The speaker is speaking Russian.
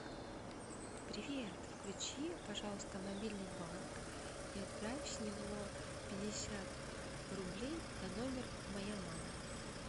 привет включи пожалуйста мобильный банк и отправь с него пятьдесят рублей на номер моя мама